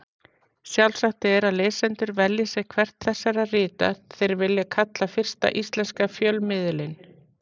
Sjálfsagt er að lesendur velji sér hvert þessara rita þeir vilja kalla fyrsta íslenska fjölmiðilinn.